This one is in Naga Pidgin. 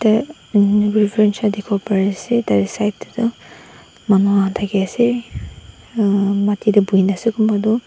side te tu mama thaki ase mati te bohi na ase.